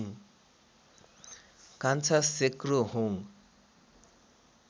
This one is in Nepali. कान्छा सेक्रोहोङ